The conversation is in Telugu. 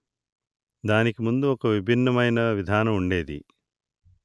దానికి ముందు ఒక విభిన్నమైన విధానం ఉండేది